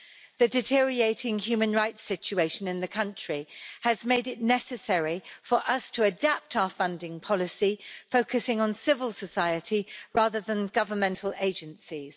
The deteriorating human rights situation in the country has made it necessary for us to adapt our funding policy, focusing on civil society rather than governmental agencies.